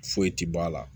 Foyi tɛ bɔ a la